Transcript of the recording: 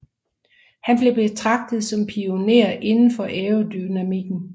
Han blev betragtet som pionér inden for aerodynamikken